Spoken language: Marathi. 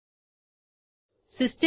ह्या मेथडमधे काय करणार आहोत ते पाहू